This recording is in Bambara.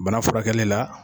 Bana furakɛli la